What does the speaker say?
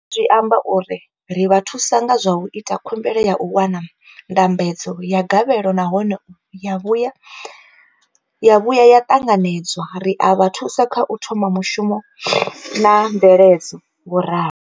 zwi amba uri ri vha thusa nga zwa u ita khumbelo ya u wana ndambedzo ya gavhelo nahone ya vhuya ya ṱanganedzwa, ri a vha thusa kha u thoma mushumo na mveledzo, vho ralo.